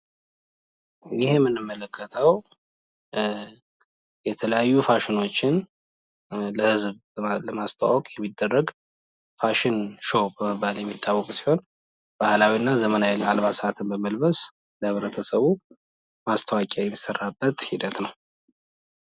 ይህ የምንመለከተው የተለያዩ ፋሽኖችን ለህዝብ ለማስተዋወቅ የሚደረግ ፋሽን ሾው በመባል የሚታወቅ ሲሆን ባህላዊ እና ዘመናዊ አልባሳትን በመልበስ ለህብረተሰቡ ማስታወቂያ የሚሰራበት ሂደት ነው።